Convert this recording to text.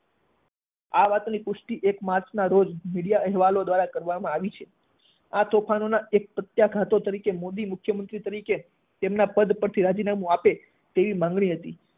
આ વાતની પુષ્ટિ એક માર્ચ ના રોજ મીડિયા અહેવાલો દ્વારા કરવામાં આવી છે આ તોફાનોનાં એક પ્રત્યાઘાતો તરીકે, મોદી મુખ્યમંત્રી તરીકે તેમનાં પદ પરથી રાજીનામું આપે તેવી માગણી હતી.